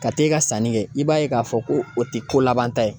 Ka t'e ka sanni kɛ i b'a ye k'a fɔ ko o tɛ ko labanta ye